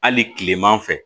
Hali kilema fɛ